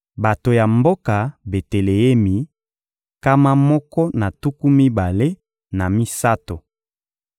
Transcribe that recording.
Bato ya mboka Beteleemi, nkama moko na tuku mibale na misato.